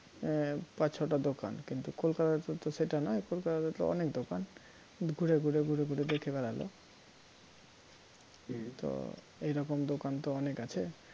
আহ পাঁচ ছটা দোকান কিন্তু কলকাতাতে তো সেটা নয় কলকাতাতে তো অনেক দোকান ঘুরে ঘুরে ঘুরে ঘুরে দেখে বেড়াল তো এইরকম দোকান তো অনেক আছে